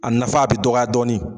A nafa a bɛ dɔgɔya dɔɔni